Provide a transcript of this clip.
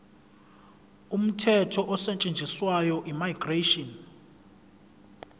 umthetho osetshenziswayo immigration